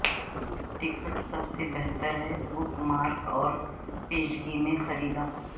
ticket سب سے بہتر ہیں بک مارک اور پیشگی میں خریدا